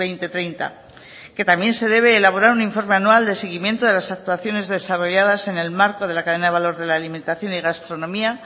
dos mil treinta que también se debe elaborar un informe anual de seguimiento de las actuaciones desarrolladas en el marco de la cadena de valor de la alimentación y gastronomía